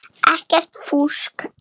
Ekkert fúsk.